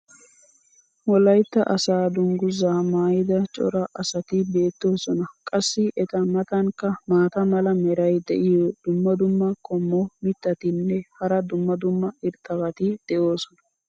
wolaytta asaa dangguzaa maayida cora asati beetoosona. qassi eta matankka maata mala meray diyo dumma dumma qommo mitattinne hara dumma dumma irxxabati de'oosona.